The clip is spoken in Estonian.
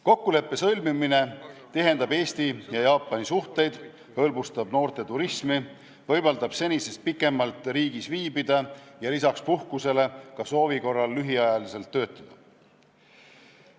Kokkuleppe sõlmimine tihendab Eesti ja Jaapani suhteid, hõlbustab noorte turismi, võimaldab senisest pikemalt riigis viibida ja lisaks puhkusele ka soovi korral lühiajaliselt töötada.